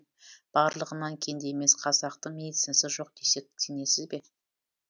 барлығынан кенде емес қазақтың медицинасы жоқ десек сенесіз бе